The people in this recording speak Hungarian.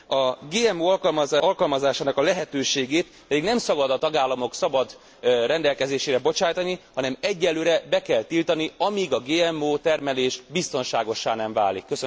A GMO alkalmazásának a lehetőségét nem szabad a tagállamok szabad rendelkezésére bocsátani, hanem egyenlőre be kell tiltani, amíg a GMO termelés biztonságossá nem válik.